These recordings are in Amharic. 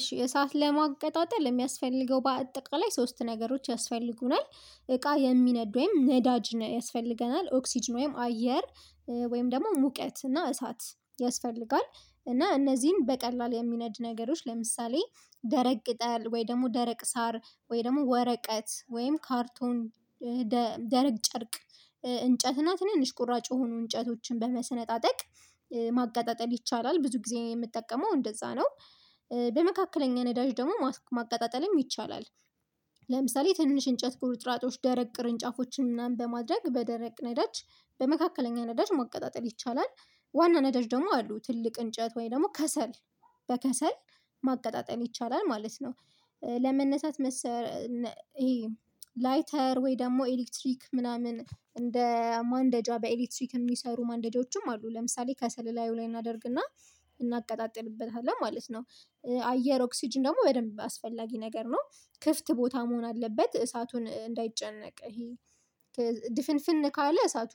እሺ እሳት ለማቀጣጠል የሚያስፈልገው በአጠቃላይ ሶስት ነገሮች ያስፈልጉናል እቃ የሚነዱ ወይም ነዳጅ ያስፈልገናል ኦክስጅን ወይም አየር ወይም ደግሞ ሙቀት እና እሳት ያስፈልጋል እና እነዚህን በቀላል የሚነድ ነገሮች ለምሳሌ ደረቅ ቅጠል ወይ ደግሞ ደረቅ ሳር ወይ ደግሞ ወረቀት ወይም ካርቶን ደረቅ ጨርቅ እንጨት እና ትንንሽ ቁራጭ የሆኑ እንጨቶችን በመሰነጣጠቅ በመሰነጣጠቅ ማቀጣጠል ይቻላል ብዙ ጊዜ የምጠቀመው እንደዛ ነው በመካከለኛ ነዳጅ ደግሞ ማቀጣጠልም ይቻላል። ለምሳሌ ትንሽ እንጨት ቁርጥራጮች ደረቅ ቅርንጫፎችን ምናምን በማድረግ በደረቅ ነዳጅ በመካከለኛ ነዳጅ ማቀጣጠል ይቻላል ዋና ነዳጅ ደግሞ አሉ ትልቅ እንጨት ወይ ደግሞ ከሰል በከሰል ማቀጣጠል ይቻላል ማለት ነው። ለመነሳት መሰረ ይሄ ላይተር ወይ ደግሞ ኤሌክትሪክ ምናምን እንደ ማንደጃ በኤሌክትሪክ የሚሰሩ ማንደጃዎችም አሉ ለምሳሌ ከሰል እላዩ ላይ እናደርግና እናቀጣጥልበታለን ማለት ነው። አየር ኦክስጅን ደግሞ በደንብ አስፈላጊ ነገር ነው ክፍት ቦታ መሆን አለበት እሳቱን እንዳይጨነቅ ይሄ ድፍንፍን ካለ እሳቱ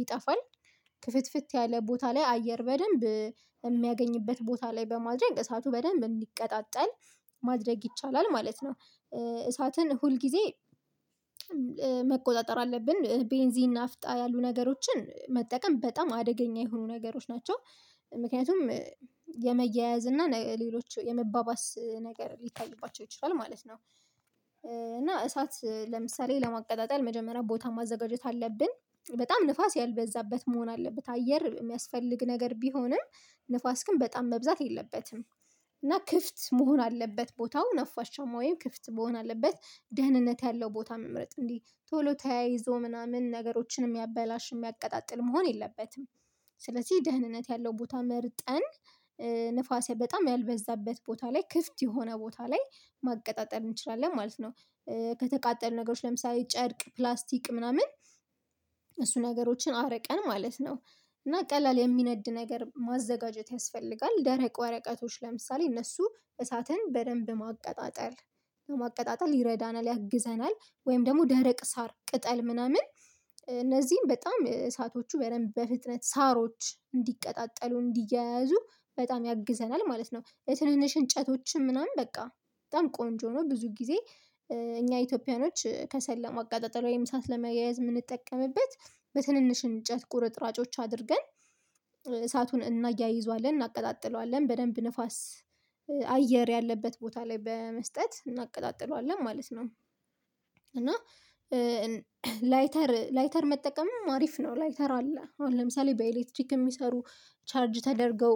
ይጠፋል ከፍትፍት ያለ ቦታ ላይ አየር በደንብ የሚያገኝበት ቦታ ላይ በማድረግ እሳቱ በደንብ እንዲቀጣጠል ማድረግ ይቻላል ማለት ነው። እሳትን ሁል ጊዜ መቆጣጠር አለብን። ቤንዚን ናፍጣ ያሉ ነገሮችን መጠቀም በጣም አደገኛ የሆኑ ነገሮች ናቸው ምክንያቱም የመያያዝ እና ሌሎች የመባባስ ነገር ሊታይባቸው ይችላል ማለት ነው። እና እሳት ለምሳሌ ለማቀጣጠል መጀመሪያ ቦታ ማዘጋጀት አለብን በጣም ንፋስ ያልበዛበት መሆን አለበት አየር የሚያስፈልግ ነገር ቢሆንም ንፋስ ግን በጣም መብዛት የለበትም። እና ክፍት መሆን አለበት ቦታው ነፋሻማ ወይም ክፍት መሆን አለበት ደህንነት ያለው ቦታ መምረጥ እንዲ ቶሎ ተያይዞ ምናምን ነገሮችን የሚያበላሽ የሚያቀጣጥል መሆን የለበትም። ስለዚህ ደህንነት ያለው ቦታ መርጠን ንፋስ በጣም ያልበዛበት ቦታ ላይ ክፍት የሆነ ቦታ ላይ ማቀጣጠል እንችላለን ማለት ነው። ከተቃጠሉ ነገሮች ለምሳሌ ጨርቅ ፕላስቲክ ምናምን እሱ ነገሮችን አርቀን ማለት ነው እና ቀላል የሚነድ ነገር ማዘጋጀት ያስፈልጋል። ደረቅ ወረቀቶች ለምሳሌ እነሱ እሳትን በደንብ ማቀጣጠል ማቀጣጠል ይረዳናል ያግዘናል ወይም ደግሞ ደረቅ ሳር ቅጠል ምናምን እነዚህን በጣም እሳቶቹ በደንብ በፍጥነት ሳሮች እንዲቀጣጠሉ እንዲያያዙ በጣም ያግዘናል ማለት ነው። የትንንሽ እንጨቶችም ምናምን በቃ በጣም ቆንጆ ነው። ብዙ ጊዜ እኛ ኢትዮጵያኖች ከሰለ ለማቀጣጠል ወይም እሳት ለማያያዝ የምንጠቀምበት በትንንሽ እንጨት ቁርጥራጮች አድርገን እሳቱን እናያይዘዋለን እናቀጣጥለዋለን በደንብ ንፋስ አየር ያለበት ቦታ ላይ በመስጠት እናቀጣጥለዋለን ማለት ነው። እና ላይተር ላይተር መጠቀምም አሪፍ ነው። ላይተር አለ አሁን ለምሳሌ በኤሌክትሪክ የሚሰሩ ቻርጅ ተደርገው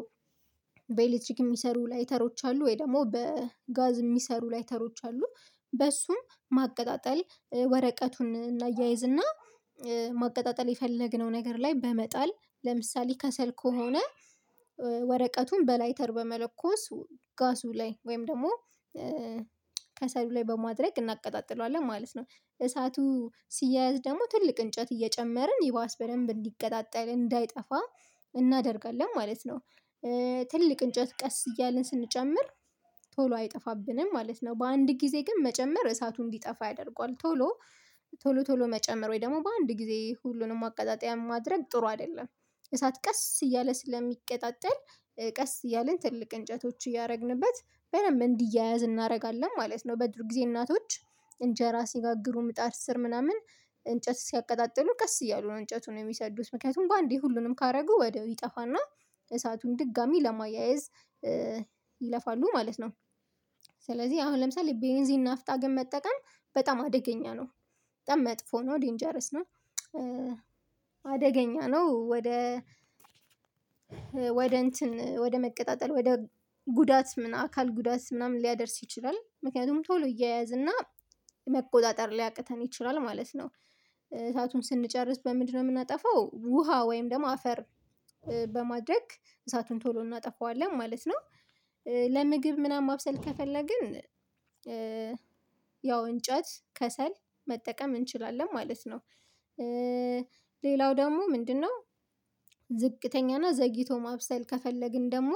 በኤሌክትሪክ የሚሰሩ ላይተሮች አሉ ወይ ደግሞ በጋዝ የሚሰሩ ላይተሮች አሉ። በሱም ማቀጣጠል ወረቀቱን እናያይዝና ማቀጣጠል የፈለግነው ነገር ላይ በመጣል ለምሳሌ ከሰል ከሆነ ወረቀቱን በላይተር በመለኮስ ጋዙ ላይ ወይም ደግሞ ከሰሉ ላይ በማድረግ እናቀጣጥለዋለን ማለት ነው። እሳቱ ሲያያዝ ደግሞ ትልቅ እንጨት እየጨመርን ይባስ በደንብ እንዲቀጣጠል እንዳይጠፋ እናደርጋለን ማለት ነው። ትልቅ እንጨት ቀስ እያልን ስንጨምር ቶሎ አይጠፋብንም ማለት ነው። በአንድ ጊዜ ግን መጨመር እሳቱ እንዲጠፋ ያደርገዋል ቶሎ ቶሎ መጨመር ወይ ደግሞ በአንድ ጊዜ ሁሉንም ማቀጣጠያ ማድረግ ጥሩ አይደለም። እሳት ቀስ እያለ ስለሚቀጣጠል ቀስ እያለ ትልቅ እንጨቶች እያደረግንበት በደንብ እንዲያያዝ እናደርጋለን ማለት ነው። በድሮ ጊዜ እናቶች እንጀራ ሲጋግሩ ምጣድ ስር ምናምን እንጨት ሲያቀጣጥሉ ቀስ እያሉ ነው እንጨቱን የሚሰዱት ምክንያቱም በአንዴ ሁሉንም ካደረጉ ወዲያው ይጠፋና እሳቱን ድጋሜ ለማያየዝ ይለፋሉ ማለት ነው። ስለዚህ አሁን ለምሳሌ ቤንዚን ናፍጣ ግን መጠቀም በጣም አደገኛ ነው። በጣም መጥፎ ነው ዴንጀረስ ነው። አደገኛ ነው ወደ ወደ እንትን ወደ መቀጣጠል ወደ ጉዳት ምናምን አካል ጉዳት ምናምን ሊያደርስ ይችላል ምክንያቱም ቶሎ ይያያዝ መቆጣጠር ሊያቅተን ይችላል ማለት ነው። እሳቱን ስንጨርስ በምንድነው የምናጠፋው? ውሃ ወይም ደግሞ አፈር በማድረግ እሳቱን ቶሎ እናጠፋዋለን ማለት ነው። ለምግብ ምናምን ማብሰል ከፈለግን ያው እንጨት ከሰል መጠቀም እንችላለን ማለት ነው። ሌላው ደግሞ ምንድነው? ዝቅተኛና ዘግይቶ ማብሰል ከፈለግን ደግሞ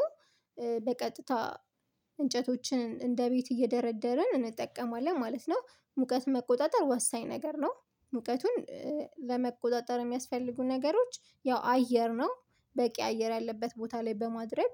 በቀጥታ እንጨቶችን እንደ ቤት እየደረደርን እንጠቀማለን ማለት ነው። ሙቀት መቆጣጠር ወሳኝ ነገር ነው። ሙቀቱን ለመቆጣጠር የሚያስፈልጉ ነገሮች ያው አየር ነው። በቂ አየር ያለበት ቦታ ላይ በማድረግ